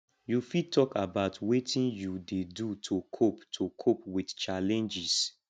you fit talk about wetin you dey do to cope to cope with challenges